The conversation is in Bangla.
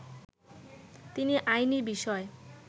তিনি আইনি বিষয়